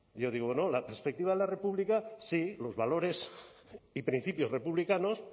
yo digo no la perspectiva de la república sí los valores y principios republicanos